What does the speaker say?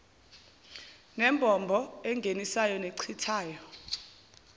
nembobo engenisayo nechithayo